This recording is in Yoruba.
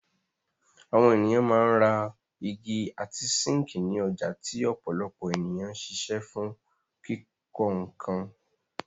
Àwọn ènìyàn máa ń ra igi àti síńkì ní ọjà tí ọ̀pọ̀lọpọ̀ ènìyàn ń ṣiṣẹ́ fún kíkọ́ nkan.